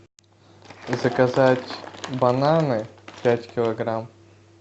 заказать бананы пять килограмм